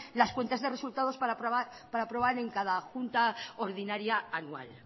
las cuentas de resultados para probar en cada junta ordinaria anual